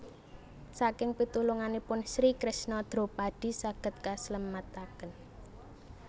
Saking pitulunganipun Sri Kresna Dropadi saged kaslametaken